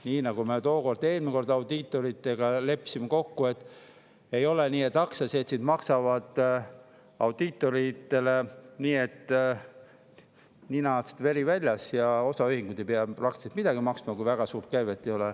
Nii nagu me eelmisel korral audiitoritega kokku leppisime: ei ole nii, et aktsiaseltsid maksavad audiitoritele, nii et ninast veri väljas, ja osaühingud ei pea peaaegu midagi maksma, kui neil väga suurt käivet ei ole.